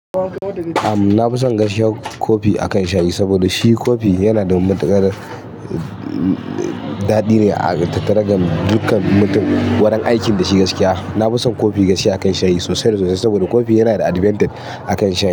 Amm, na fi son inga shewu kofi akan shayi saboda shi kofi yana da matikar daɗi ne a tattara dukan mutum wurin aikin da shi gaskiya. Na fi son kofi gaskiya akan shayi sosai da sosai saboda kofi yana da advantage a kan shayi.